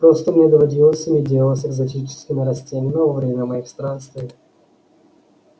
просто мне доводилось иметь дело с экзотическими растениями во время моих странствий